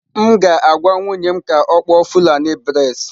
M ga-agwa nwunye m ka ọ kpụọ fulani braids.